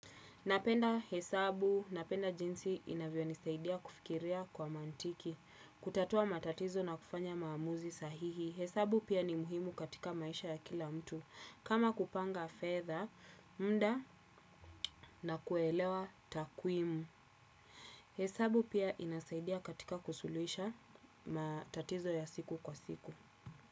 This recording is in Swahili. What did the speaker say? Napenda hesabu, napenda jinsi inavyo nisaidia kufikiria kwa mantiki, kutatua matatizo na kufanya maamuzi sahihi. Hesabu pia ni muhimu katika maisha ya kila mtu. Kama kupanga fedha, mda na kuelewa takuimu. Hesabu pia inasaidia katika kusulisha matatizo ya siku kwa siku.